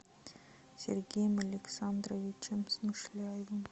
сергеем александровичем смышляевым